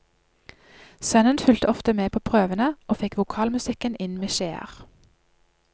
Sønnen fulgte ofte med på prøvene, og fikk vokalmusikken inn med skjeer.